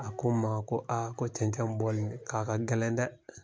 A ko n ma ko a ko cɛncɛn bɔli k'a ka gɛlɛn dɛ!